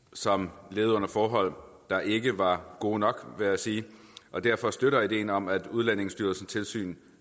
som levede under forhold der ikke var gode nok vil jeg sige og derfor støtter vi ideen om at udlændingestyrelsens tilsyn